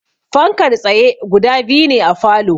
Fankar tsaye guda biyu ne a falow